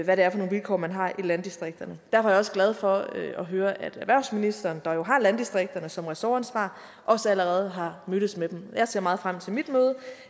hvad det er for nogle vilkår man har i landdistrikterne derfor er jeg også glad for at høre at erhvervsministeren der jo har landdistrikterne som ressortansvar også allerede har mødtes med dem og jeg ser meget frem til mit møde